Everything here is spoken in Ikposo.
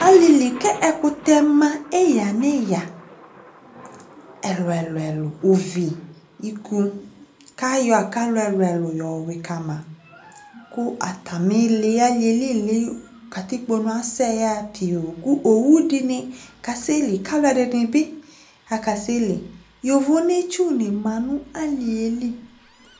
Alilɩdɩ lanutɛ ɛƙʊtɛ nɔwɔ nɔwɔ nɩ aɗʊ alɩƴɛlɩ esɩ ɩʋɩ ɓʊɛɗɩ ƙama alɩƴɛ ɔɗʊ ƙatɩƙpo aʋa, owʊ, ɔlʊlʊnɩ aƙelɩalɛ ɩtsʊ nɩɗʊ alɩƴɛlɩ